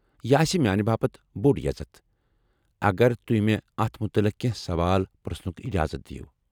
یہ آسہ میانہِ باپت بوڈ یزتھ اگر تُہۍ مےٚ اتھ متعلق کیٚنٛہہ سوال پرٛژھنُك اِجازت دیِو ۔